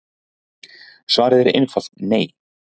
Svarið er einfalt nei.